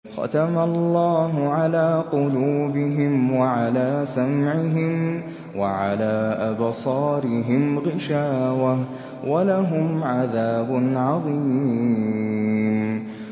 خَتَمَ اللَّهُ عَلَىٰ قُلُوبِهِمْ وَعَلَىٰ سَمْعِهِمْ ۖ وَعَلَىٰ أَبْصَارِهِمْ غِشَاوَةٌ ۖ وَلَهُمْ عَذَابٌ عَظِيمٌ